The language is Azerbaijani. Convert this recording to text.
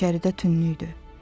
İçəridə tünnüdü.